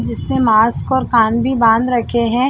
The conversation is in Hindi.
जिसने मास्क और कान भी बांध रखे है।